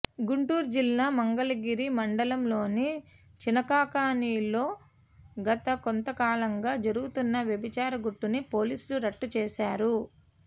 గుంటూరు జిల్లా మంగళగిరి మండలంలోని చినకాకానిలో గత కొంతకాలంగా జరుగుతున్న వ్యభిచార గుట్టుని పోలీసులు రట్టు చేశారు